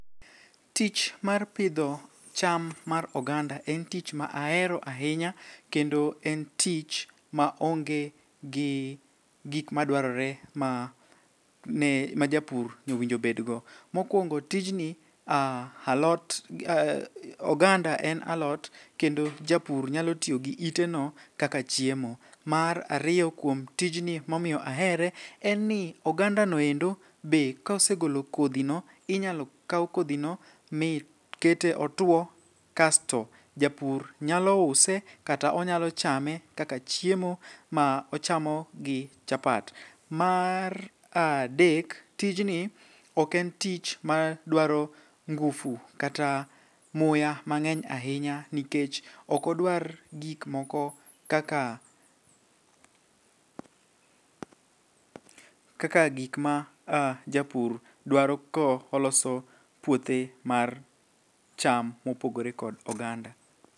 Tich mar pidho cham mar oganda en tich ma ahero ahinya kendo en tich maonge gi gik madwarore ma japur owinjo bedgo. Mokwongo tijni oganda en alot kendo japur nyalo tiyo gi iteno kaka chiemo. Mar ariyo kuom tijni momiyo ahere en ni ogandano endo be kosegolo kodhino inyalo kaw kodhino mikete otwo kasto japur nyalo use kata onyalo chame kaka chiemo ma ochamo gi chapat. Mar adek tijni oken tich madwaro ngufu kata muya mang'eny ahinya nikech okodwar gikmoko kaka gikma japur dwaro koloso puothe mar cham mopogore kod oganda.